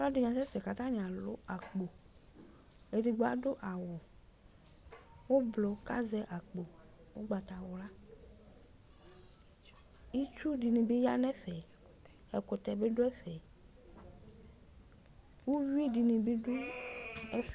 Alu ɛdini asɛsɛ kʋ atani alʋ akpoEdigbo adʋ awu ublu, kazɛ akpo ugbatawlaItsu dini bi yanɛfɛƐkutɛ biduɛfɛUwui dini nidʋ ɛfɛ